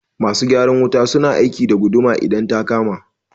Masu gyaran wuta su na aiki da guduwa idan ta kama